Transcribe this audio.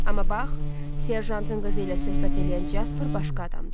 Amma bax, serjantın qəzi ilə söhbət eləyən Casper başqa adamdır.